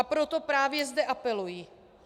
A proto právě zde apeluji.